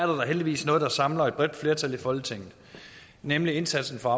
da heldigvis noget der samler et bredt flertal i folketinget nemlig indsatsen for